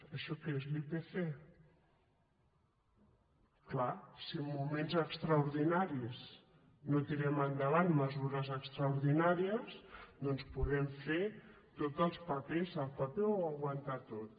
això que és l’ipc és clar si en moments extraordinaris no tirem endavant mesu·res extraordinàries doncs podem fer tots els papers el paper ho aguanta tot